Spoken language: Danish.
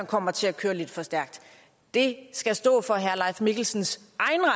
kommer til at køre lidt for stærkt det skal stå for herre leif mikkelsens